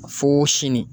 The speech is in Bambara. Fo sini